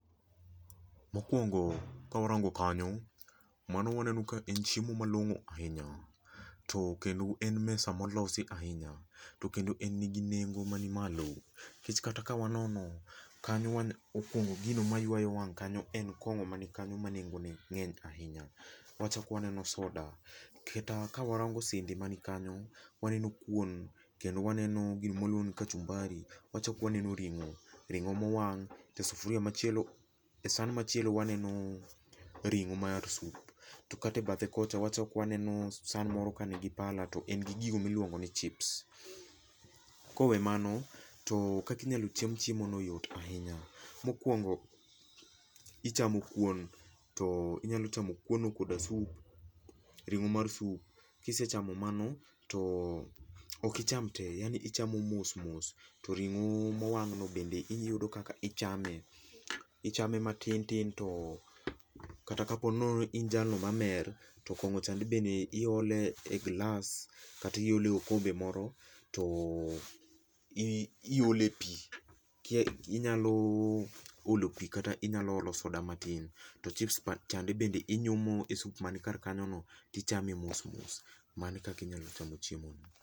Mokuongo ka warango kanyo, mano waneno ka e chiemo malong'o ahinya. To kendo en mesa molosi ahinya. To kendo en nigi nengo man malo nikech kata ka wanono kany owaneno opong'o gino mayuayo wang' kanyo en kong'o mani kanyo manengo ne ng'eny ahinya. Wachako waneno soda kata kawarango sende man kanyo waneno kuon kendo waneno gino ma waluongo ni kachumbari. Wachako waneno ring'o, ring'o mowang', e sufuria machielo, e san machielo waneno ring'o mar sup. To kata ebathe kocha wachalko waneno san moro kanigi pala to en gi gigo miluongo ni chips. Kowe mago to kaka inyalo cham chiemono yot ahinya. Mokuongo ichamo kuon to inyalo chamo kuon no koda sup, ring'o mar sup to ok icham tee. Ichamo mos mos to ring'o mowang'no bende iyudo kaka ichame. Ichame matin tin to kata ka po nono ni in jalno mamer to kong'o chande bende iolo e gilas kata iole e okombe moro to iole pi inyalo olo pi kata inyalo olo soda matin to chips chande be inyumo e sup man kanyono to ichame mos mos. Mano e kaka inyalo chamo chiemono.